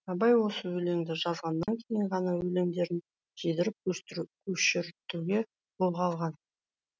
абай осы өленді жазғаннан кейін ғана өлеңдерін жидырып көшіртуді қолға алған